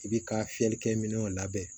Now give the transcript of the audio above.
I bi ka fiyɛlikɛ minɛnw labɛn